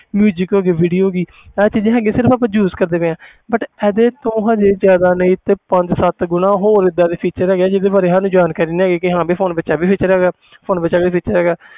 Music ਹੋ ਗਈ video ਹੋ ਗਈ ਇਹ ਚੀਜ਼ਾਂ ਹੈਗੀਆਂ ਸਿਰਫ਼ ਆਪਾਂ use ਕਰਦੇ ਪਏ ਹਾਂ but ਇਹਦੇ ਤੋਂ ਹਜੇ ਜ਼ਿਆਦਾ ਨਹੀਂ ਤੇ ਪੰਜ ਸੱਤ ਗੁਣਾ ਹੋਰ ਏਦਾਂ ਦੇ feature ਹੈਗੇ ਆ ਜਿਹਦੇ ਬਾਰੇ ਸਾਨੂੰ ਜਾਣਕਾਰੀ ਨਹੀਂ ਹੈਗੀ ਕਿ ਹਾਂ ਵੀ phone ਵਿੱਚ ਇਹ ਵੀ feature ਹੈਗਾ phone ਵਿੱਚ ਇਹ ਵੀ feature ਹੈਗਾ।